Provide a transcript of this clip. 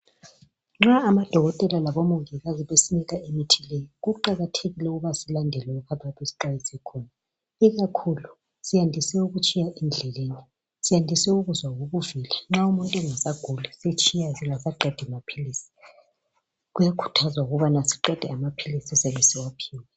Nxa amadokotela labomongikazi besinika imithi leyi, kuqakathekile ukubana silandele lokho abayabe besixwayise khona ikakhulu siyandise ukutshiya endlelni, siyandise ukuzwa ubuvila. Nxa umuntu engasaguli setshiya kasaqedi maphilisi. Kuyakhuthazwa ukubana siqede amaphilisi esiyabe siwaphiwe